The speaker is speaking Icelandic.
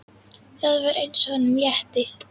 Það var eins og honum létti.